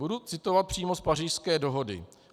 Budu citovat přímo z Pařížské dohody.